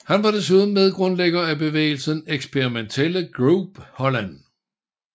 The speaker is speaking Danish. Han var desuden medgrundlægger af bevægelsen Experimentele Groep Holland